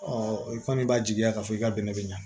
i kɔni b'a jigiya k'a fɔ i ka bɛnɛ bɛ ɲa